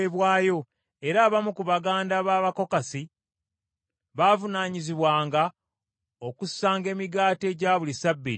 era abamu ku baganda b’Abakokasi baavunaanyizibwanga okussanga emigaati egya buli ssabbiiti ku mmeeza.